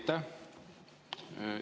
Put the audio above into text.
Aitäh!